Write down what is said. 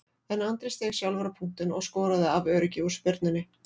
En Andri steig sjálfur á punktinn og skoraði af öryggi úr spyrnunni.